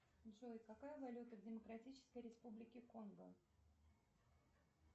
джой какая валюта в демократической республике конго